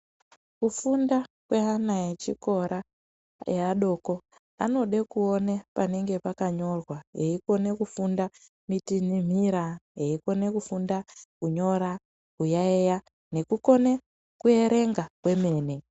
Kufunda kweana echikora eadoko anode kuone panenge pakanyorwa eikone kufunda mitinhimira eikone kufunda kunyora kuyaiya nekukone kuerenga kwemene.